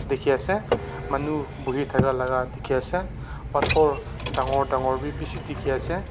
dikey ase manu bohi thaka la ka dikey ase pathor dangor dangor b bishi dikey ase.